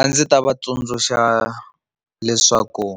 A ndzi ta va tsundzuxa leswaku